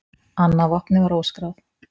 Annað vopnið var óskráð.